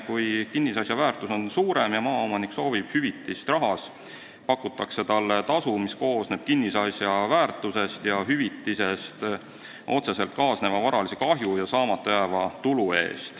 Kui kinnisasja väärtus on suurem ja maaomanik soovib hüvitist rahas, siis pakutakse talle tasu, mille arvestamisel on silmas peetud kinnisasja väärtust, otseselt kaasnevat varalist kahju ja saamata jäävat tulu.